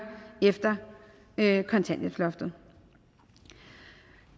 efter kontanthjælpsloftet